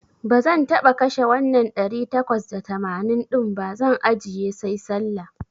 Bazan taba kashe wannan ɗari takwas da tamanin din ba, zan ajjiye sai Sallah.